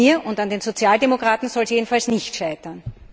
An mir und an den Sozialdemokraten soll es jedenfalls nicht scheitern.